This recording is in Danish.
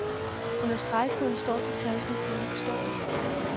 Under stregkoden står de tal, som koden består af.